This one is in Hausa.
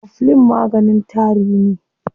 Coflin maganin tari ne.